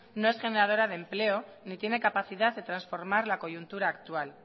no es generadora de empleo ni tiene capacidad de transformar la coyuntura actual